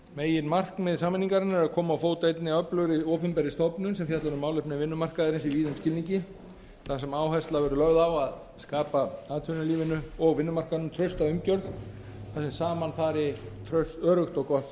meginmarkmið sameiningarinnar er að koma á fót einni öflugri opinberri stofnun sem fjallar um málefni vinnumarkaðarins í víðum skilningi þar sem áhersla verður lögð á að skapa atvinnulífinu og vinnumarkaðnum trausta umgjörð þar sem saman fari öruggt og gott